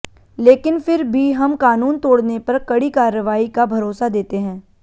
लेकिन फिर भी हम कानून तोड़ने पर कड़ी कार्रवाई का भरोसा देते हैं